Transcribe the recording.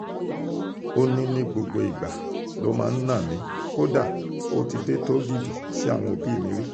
ó ní gbogbo ìgbà ló máa ń ná mi kódà ó ti dé tóògìdì sí àwọn òbí mi rí